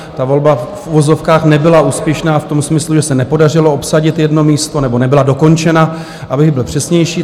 Ta volba v uvozovkách nebyla úspěšná v tom smyslu, že se nepodařilo obsadit jedno místo, nebo nebyla dokončena, abych byl přesnější.